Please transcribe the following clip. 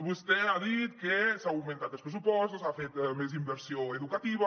vostè ha dit que s’han augmentat els pressupostos s’ha fet més inversió educativa